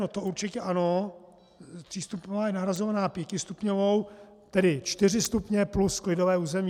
No to určitě ano, třístupňová je nahrazována pětistupňovou, tedy čtyři stupně plus klidové území.